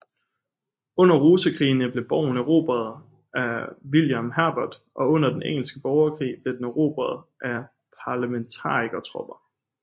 Under rosekrigene blev borgen erobret af William Herbert og under den engelske borgerkrig blev den erobret af parlementarikertropper